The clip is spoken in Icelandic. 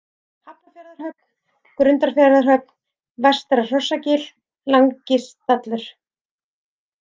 Hafnarfjarðarhöfn, Grundarfjarðarhöfn, Vestra-Hrossagil, Langistallur